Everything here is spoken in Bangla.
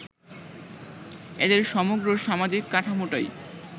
এদের সমগ্র সামাজিক কাঠামোটাই